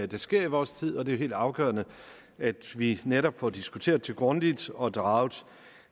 der sker i vores tid og det helt afgørende at vi netop får det diskuteret så grundigt og draget